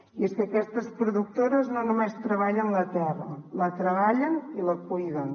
i és que aquestes productores no només treballen la terra la treballen i la cuiden